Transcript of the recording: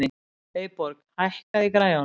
Eyborg, hækkaðu í græjunum.